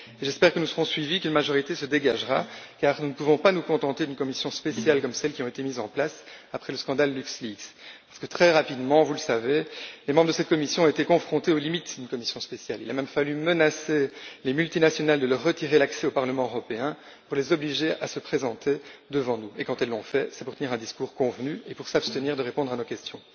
J'espère que nous serons suivis et qu'une majorité se dégagera, car nous ne pouvons nous contenter d'une commission spéciale, comme celles qui ont été mises en place après le scandale LuxLeaks. En effet, très rapidement, vous le savez, les membres de cette commission ont été confrontés aux limites d'une commission spéciale. Il a même fallu menacer les multinationales de leur retirer l'accès au Parlement européen pour les obliger à se présenter devant nous et, quand elles l'ont fait, cela a été pour tenir un discours convenu et s'abstenir de répondre à nos questions.